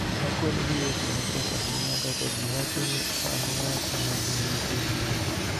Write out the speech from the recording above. Akwedo gi weche matek ahinya kaka ji wacho ni an ng�at ma nigi tim gero.